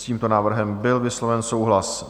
S tímto návrhem byl vysloven souhlas.